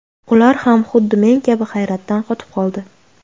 Ular ham xuddi men kabi hayratdan qotib qoldi.